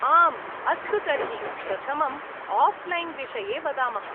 आम्, अस्तु, तर्हि प्रथमम् आफ्लैन् विषये वदामः।